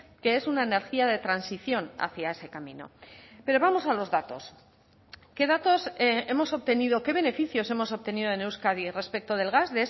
que es una energía de transición hacia ese camino pero vamos a los datos qué datos hemos obtenido qué beneficios hemos obtenido en euskadi respecto del gas